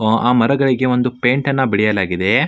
ಆ ಮರಗಳಿಗೆ ಒಂದು ಪೈಂಟ್ ಅನ್ನು ಬಳಿಯಲಾಗಿದೆ.